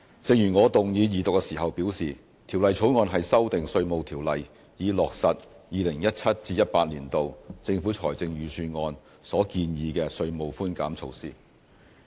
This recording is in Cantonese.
正如我動議二讀時表示，《條例草案》是修訂《稅務條例》，以落實 2017-2018 年度政府財政預算案所建議的稅務寬減措施。